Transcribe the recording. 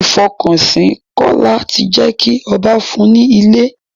Ìfọkànsìn Kọ́lá ti jé kí ọba fún un ní ilé.